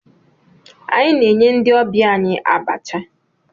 Anyị na-enye ndị ọbịa anyị abacha.